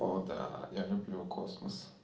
о да я люблю космос